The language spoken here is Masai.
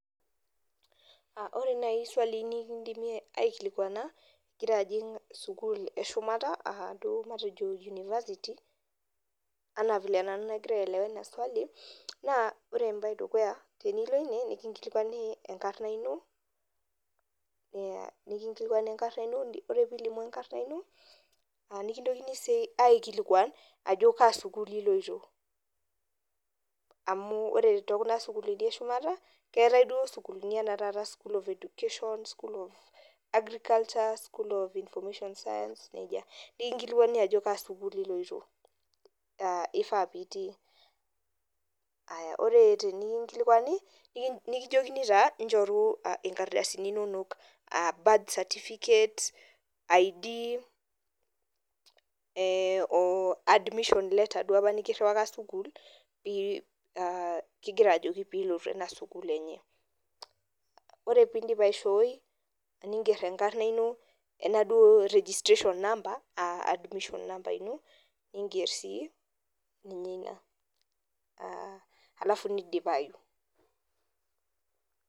Ore nai sualii nikidimi aikilikwana, igira ajing' sukuul eshumata, aduo matejo University, anaa vile nagira nanu aelewa ina swali, naa ore ebae edukuya, tenilo ine, nikinkilikwani enkarna ino, nikinkilikwani enkarna ino, ore pilimu enkarna ino, nikintokini si aikilikwan, ajo kaa sukuul iloito. Amu ore tokuna sukuulini eshumata, keetae duo sukuulini enaa taata school of education, school of agriculture, school of information science, nejia. Nikinkilikwani ajo kaa sukuul iloito, ah ifaa pitii. Aya, ore pikinkilikwani, nikijokini taa, nchoru inkardasini inonok. Ah birth certificate, ID, o admission letter duo apa nikirriwaka sukuul, ah kigira ajoki pilotu ena sukuul enye. Ore pidip aishooi, niger enkarna ino enaduo registration number, ah admission number ino, niger si, ninye ina. Ah alafu nidipayu.